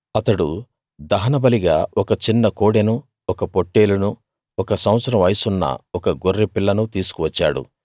అతడు దహనబలిగా ఒక చిన్న కోడెనూ ఒక పొట్టేలునూ ఒక సంవత్సరం వయసున్న ఒక గొర్రెపిల్లనూ తీసుకు వచ్చాడు